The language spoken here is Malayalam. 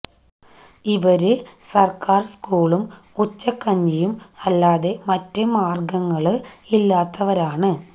ഇവര് സര്ക്കാര് സ്കൂളും ഉച്ചക്കഞ്ഞിയും അല്ലാതെ മറ്റ് മാര്ഗങ്ങള് ഇല്ലാത്തവരാണ്